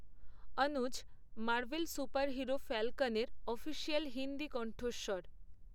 অনুজ, Marvel superhero ফ্যালকনের official Hindi কণ্ঠস্বর।